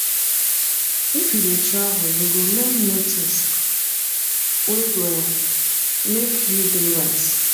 if you dey travel you go learn new tins wey go um make you dey wise